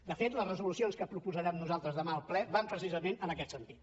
de fet la resolucions que proposarem nosaltres demà al ple van precisament en aquest sentit